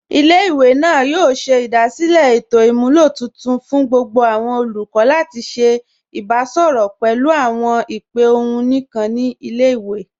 Ilẹ̀-ìwé náà yóò ṣẹ̀ idasílẹ̀ ètò imúlọ̀ tuntun fún gbogbo awọn olùkọ̀ lati ṣẹ̀ ìbàṣọrọ pẹ̀lú awọn ìpè ọ̀hun níkan ni ilẹ̀-ìwé.